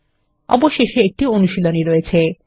অবশেষে একটি অনুশীলনী রয়েছে